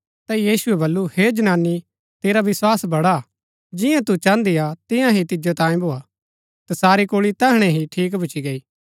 ता यीशुऐ बल्लू हे जनानी तेरा विस्वास बड़ा हा जिंआ तू चाहन्दी हा तियां ही तिजो तांयें भोआ तसारी कुल्ळी तैहणै ही ठीक भूच्ची गई